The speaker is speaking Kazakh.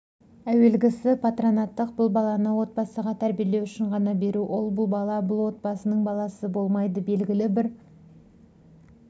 әуелгісіпатронаттық бұл баланы отбасыға тәрбиелеу үшін ғана беру ол бала бұл отбасының баласы болмайды белгілі бір